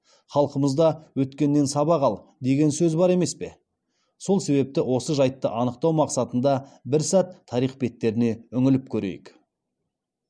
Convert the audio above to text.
халқымызда өткеннен сабақ ал деген сөз бар емес пе сол себепті осы жайтты анықтау мақсатында бір сәт тарих беттеріне үңіліп көрейік